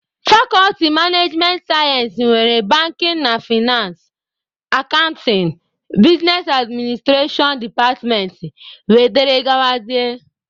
Fakọlti managemenị sayensị nwere banking na fainansị, akantịn, bisnes adminstrashọn departmentị wdg.